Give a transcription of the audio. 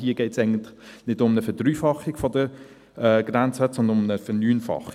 Hier geht es eigentlich nicht um eine Verdreifachung der Grenzwerte, sondern um eine Verneunfachung.